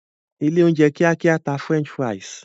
ilé oúnjẹ kíákíá tà french fries.